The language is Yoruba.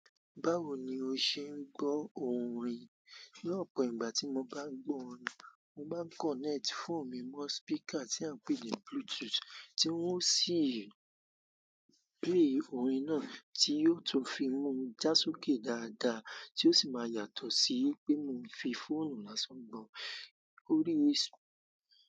Báwo ni o ṣe ń gbọ́ orin? Ni opo ìgbà tí mo bá ń gbọ́ orin, mo máa ń kọ̀nẹ́ẹ̀tì fóònù mi mọ́ speaker tí a ń pè ní Bluetooth, tí ó sì ń play orin náà tí yóò tún fi mú mi já sókè dáadáa tí ó sì máa yàtọ̀ sí pé mo fi fóònù lásán gbọ́ orí.